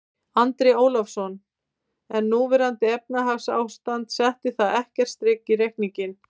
Andri Ólafsson: En núverandi efnahagsástand, setti það ekkert strik í reikninginn?